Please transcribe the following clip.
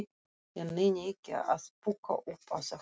Ég nenni ekki að púkka upp á þetta.